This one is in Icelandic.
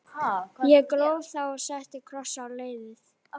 Ég gróf þá og setti kross á leiðið.